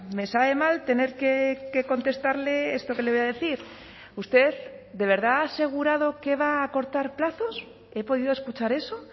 me sabe mal tener que contestarle esto que le voy a decir usted de verdad ha asegurado que va a acortar plazos he podido escuchar eso